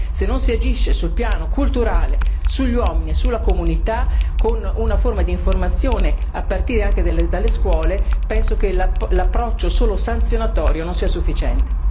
se non si agisce sul piano culturale, sugli uomini e sulla comunità con una forma di informazione a partire anche dalle scuole, penso che l'approccio solo sanzionatorio non sia sufficiente.